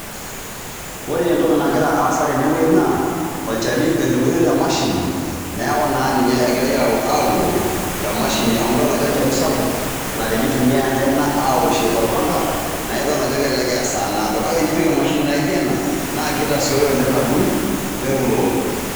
Ore entoki nagira aasa tene wuei naa olchani edung'itoi te mashini neeku naa ninye egirai auroo te mashini amu idol ajo olchani sapuk la tenitumiai ekaini awoshie torpanga naa idol aje kelelek eya esaa naado, kake enipik emashini naijo ena naa kitasioyo oleng' adung' neuroo.